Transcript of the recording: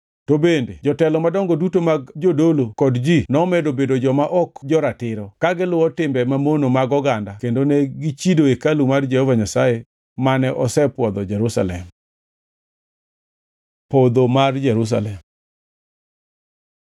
To bende jotelo madongo duto mag jodolo kod ji nomedo bedo joma ok jo-ratiro, ka giluwo timbe mamono mag oganda kendo ne gichido hekalu mar Jehova Nyasaye mane osepwodho Jerusalem. Podho mar Jerusalem